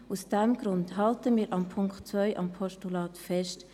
Aus diesem Grund halten wir am Punkt 2 des Postulats fest.